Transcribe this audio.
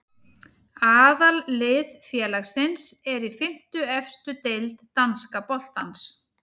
Aðallið félagsins er í fimmtu efstu deild danska boltans.